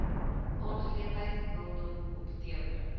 aangeleentheid rondom kompeterende